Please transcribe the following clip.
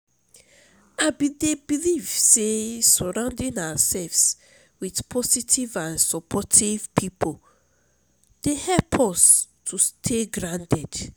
i dey believe say surrounding ourselves with positive and supportive people dey help us to stay grounded.